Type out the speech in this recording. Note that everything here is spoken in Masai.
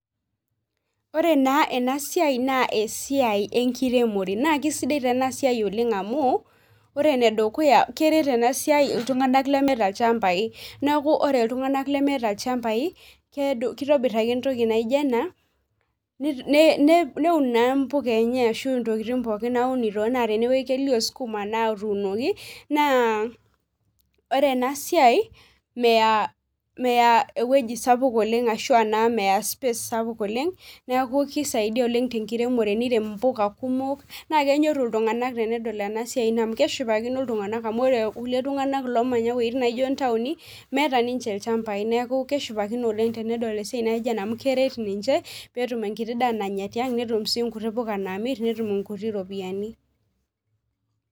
Ore naa ena ena siai naa esiai enkiremore naa keisaidia taa ena siai amu ore enedukuya keret ena siai iltung'anak lemeeta ilchambai neeku ore iltung'anak lemeeta ilchambai keitabir ake entoki naijio ena neun naa impuka enya ashuu intokitin pookin naaunito ena tenewueji kelio sukuma naatunoki naa ore ena siai meya ewueji sapuk oleng ashuu ashua naa meya space sapuk oleng neeku keisidai oleng tenkiremore nirem imbuka kumok naakenyoru iltung'anak tenedol ena siai ino keshipakino iltung'anak amu ore kulie tung'anak loomanya iweitin naaijio neeku keshipakino oleng teneeku tenedol esiai naijio ena amu keret ninche peetum endaa nayier tiang netum impuka naamir netum inkuti ropiyiani